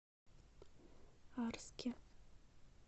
арске